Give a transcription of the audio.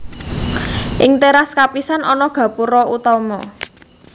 Ing téras kapisan ana gapura utama